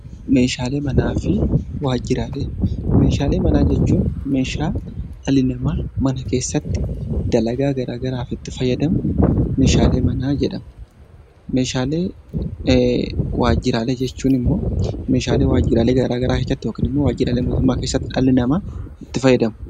Meeshaalee manaa fi waajjiraalee Meeshaalee manaa jechuun meeshaa dhalli namaa mana keessatti dalagaa garaa garaaf itti fayyadamu meeshaalee manaa jedhama. Meeshaalee waajjiraalee jechuun immoo meeshaalee waajjiraalee garaa garaa keessatti yookiin immoo waajjiraalee mootummaa keessatti dhalli namaa itti fayyadamu.